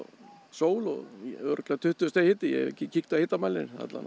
sól og örugglega tuttugu stiga hiti ég hef ekki kíkt á hitamælinn